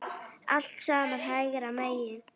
Allt saman hægri menn!